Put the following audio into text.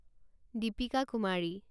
Deepika Kumari